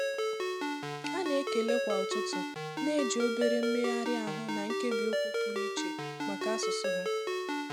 Ha na-ekele kwa ụtụtụ na-eji obere mmegharị ahụ na nkebiokwu pụrụ iche maka asụsụ ha.